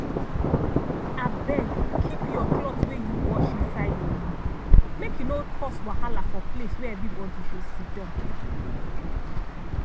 abeg keep cloth wey u wash inside your room make e no cause wahala for place wey everybody dey siddan.